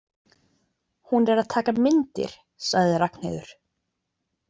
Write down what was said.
Hún er að taka myndir, sagði Ragnheiður.